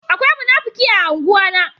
Akwai munafuki a ungwa na.